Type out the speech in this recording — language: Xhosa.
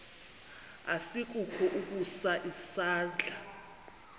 asikukho ukusa isandla